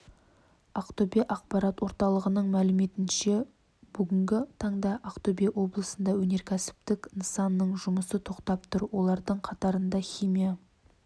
ақтөбе ақпарат орталығының мәліметінше бүгінгі таңда ақтөбе облысында өнеркәсіптік нысанның жұмысы тоқтап тұр олардың қатарында химия